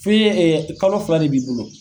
F'i ee kalo fila de b'i bolo.